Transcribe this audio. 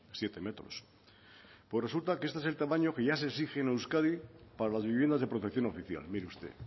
siete metros pues resulta que este es el tamaño que ya se exige en euskadi para las viviendas de protección oficial mire usted